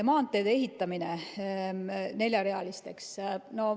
Maanteede ehitamine neljarealiseks.